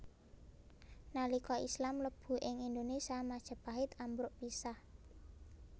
Nalika Islam mlebu ing Indonésia Majapahit ambruk pisah